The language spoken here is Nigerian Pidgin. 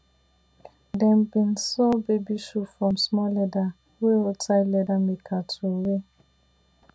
dem bin sew baby shoe from small leather wey roadside leather maker throwaway